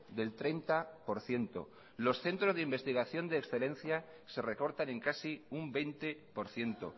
del treinta por ciento los centros de investigación de excelencia se recortan en casi un veinte por ciento